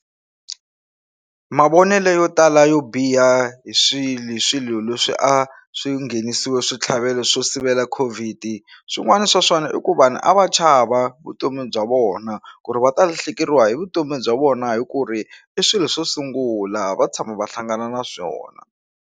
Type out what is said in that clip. Mavonele yo tala yo biha hi swilo hi swilo leswi a swi nghenisiwe switlhavelo swo sivela Covid swin'wana swa swona i ku vanhu a va chava vutomi bya vona ku ri va ta lahlekeriwa hi vutomi bya vona hi ku ri i swilo swo sungula a va tshama va hlangana na swona.